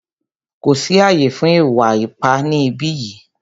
Kò sí ààyè fún ìwà ipá ni ìbí yìí!